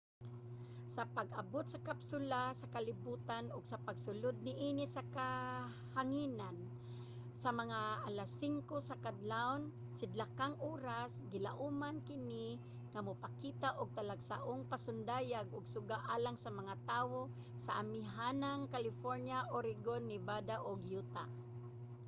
sa pag-abot sa kapsula sa kalibotan ug sa pagsulod niini sa kahanginan sa mga alas 5 sa kaadlawon sidlakang oras gilauman kini nga mopakita og talagsaong pasundayag sa suga alang sa mga tawo sa amihanang california oregon nevada ug utah